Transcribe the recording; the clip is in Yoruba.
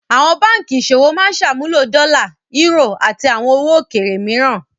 Àwọn báńkì ìṣòwò máa ń ṣàmúlò dọ́là, eúrò, àti àwọn owó òkèèrè mìíràn.